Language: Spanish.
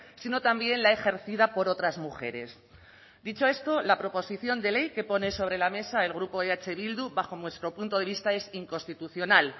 sino también la ejercida por otras mujeres dicho esto la proposición de ley que pone sobre la mesa el grupo eh bildu bajo nuestro punto de vista es inconstitucional